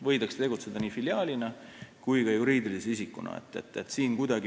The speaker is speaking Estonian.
Võidakse tegutseda nii filiaalina kui ka juriidilise isikuna.